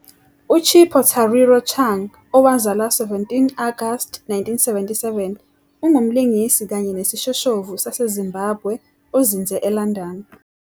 UChipo Tariro Chung, owazalwa 17 Agasti 1977, ungumlingisi kanye nesishoshovu saseZimbabwe ozinze eLondon.